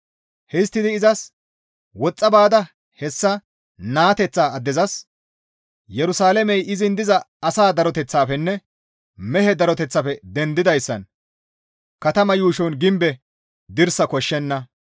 Histtidi izas, «Woxxa baada hessa naateththa addezas, ‹Yerusalaamey izin diza asa daroteththafenne mehe daroteththafe dendoyssan katamaa yuushon gimbe dirsa koshshenna.